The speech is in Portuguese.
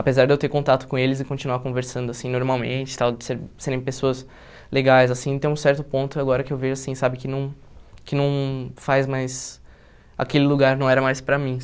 Apesar de eu ter contato com eles e continuar conversando, assim, normalmente, tal, de ser serem pessoas legais, assim, tem um certo ponto agora que eu vejo, assim, sabe, que não que não faz mais... Aquele lugar não era mais para mim,